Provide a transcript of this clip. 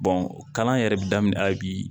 kalan yɛrɛ bi daminɛ hali bi